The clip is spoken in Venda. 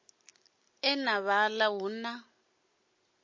e na vhala hu na